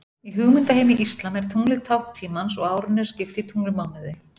Í hugmyndaheimi íslam er tunglið tákn tímans og árinu er skipt í tunglmánuði.